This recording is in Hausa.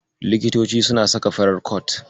Likitoci suna saka farar kot.